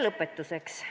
Lõpetuseks.